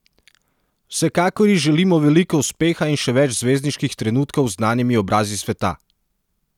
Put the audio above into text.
Vsekakor ji želimo veliko uspeha in še več zvezdniških trenutkov z znanimi obrazi sveta!